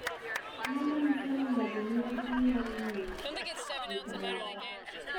Ang’o ma nyiso ni ng’ato nigi tuwo mar ng’iyo gik moko?